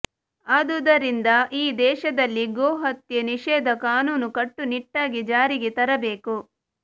ಆದುದರಿಂದ ಈ ದೇಶದಲ್ಲಿ ಗೋ ಹತ್ಯೆ ನಿಷೇಧ ಕಾನೂನು ಕಟ್ಟುನಿಟ್ಟಾಗಿ ಜಾರಿಗೆ ತರಬೇಕು